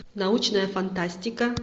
научная фантастика